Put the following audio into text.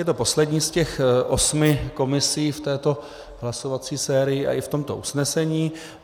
Je to poslední z těch osmi komisí v této hlasovací sérii a i v tomto usnesení.